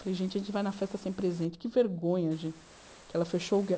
Falei, gente, a gente vai na festa sem presente, que vergonha, gente, que ela fechou o